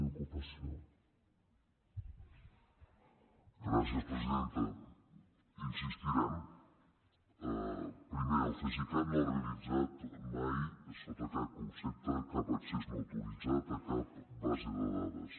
hi insistirem primer el cesicat no ha realitzat mai sota cap concepte cap accés no autoritzat a cap base de dades